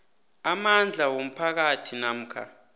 amandla womphakathi namkha